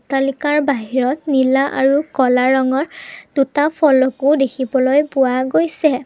অট্টালিকাৰ বাহিৰত নীলা আৰু ক'লা ৰঙৰ দুটা ফলকো দেখিবলৈ পোৱা গৈছে।